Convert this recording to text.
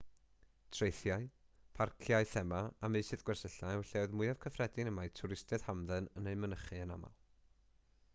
traethau parciau thema a meysydd gwersylla yw'r lleoedd mwyaf cyffredin mae twristiaid hamdden yn eu mynychu yn aml